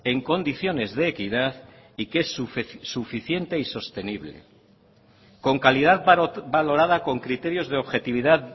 en condiciones de equidad y que es suficiente y sostenible con calidad valorada con criterios de objetividad